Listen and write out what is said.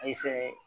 A ye fɛn